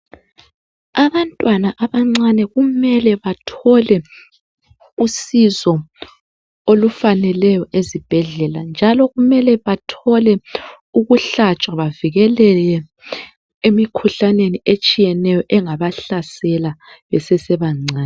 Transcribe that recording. Abantwana abancane kumele bathole usizo olufaneleyo ezibhedlela njalo kumele bathole ukuhlatshwa bavikeleke emikhuhlaneni etshiyeneyo engabahlasela besese bancane